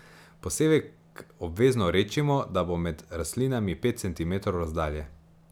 Posevek obvezno redčimo, da bo med rastlinami pet centimetrov razdalje.